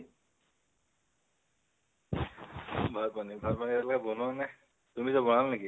ভাত পানী । ভাত পানী এতিয়ালৈকে বনোৱা নাই। তুমি এতিয়া বনালা নেকি?